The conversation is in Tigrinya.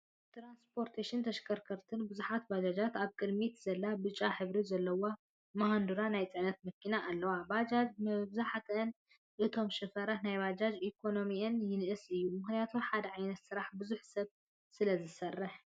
ትራንስፖትን ተሸከርከርትን፦ ብዙሓትባጃጃትን ኣብ ቅድሚት ዘላ ብጫ ሕብሪ ዘለዋ ማሃዱራ ናይ ፅዕነት መኪናን ኣለዋ። ባጃጃት ብምብዘሐን እቶም ሽፈራት ናይ ባጃጅ ኢኮኖሚኦም ይንእስ እዩ፤ ምክንያቲ ሓደ ዓይነት ስራሕ ብዙሕ ሰብ ስለዝሰርሕ።